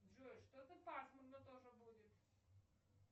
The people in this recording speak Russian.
джой что то пасмурно тоже будет